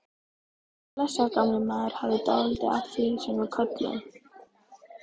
Blessaður gamli maðurinn hafði dálítið af því sem við köllum